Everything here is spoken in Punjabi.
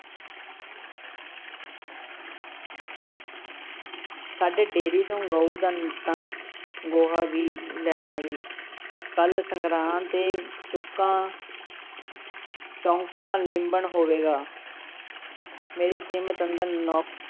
ਸਾਡੇ ਡੇਅਰੀ ਤੋਂ ਗਊ ਦਾ ਤਨਕ ਗੋਹਾ ਵੀ ਲੈ ਆਵੀਂ, ਕੱਲ੍ਹ ਸੰਗਰਾਂਦ ਏ, ਚੁੱਕਾਂ ਚੋਂਕਾ ਲਿੰਬਣ ਹੋਵੇਗਾ ਮੇਰੀ ਤ੍ਰੀਮਤ ਅੰਦਰ ਨੌ~